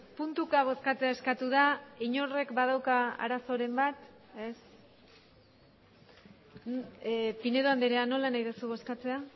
puntuka bozkatzea eskatu da inork badauka arazoren bat ez pinedo andrea nola nahi duzu bozkatzea